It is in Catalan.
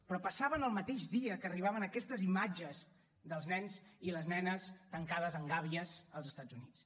però passava el mateix dia que arribaven aquestes imatges dels nens i les nenes tancades en gàbies als estats units